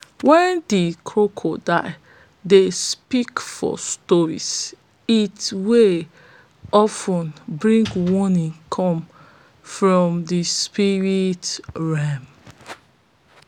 when the crocodile dey speak for stories it will bring money of ten come from the spirit realm